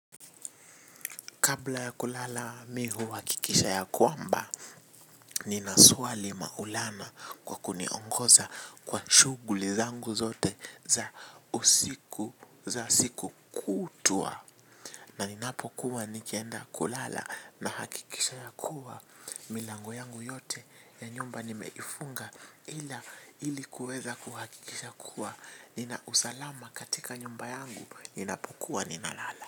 Kabla ya kulala mi huhakikisha ya kwamba, nina swali Maulana kwa kuniongoza kwa shughuli zangu zote za usiku, za siku kutwa. Na ninapokuwa nikienda kulala nahakikisha ya kuwa milango yangu yote ya nyumba nimeifunga, ila, ili kuweza kuhakikisha kuwa, nina usalama katika nyumba yangu, ninapokuwa ninalala.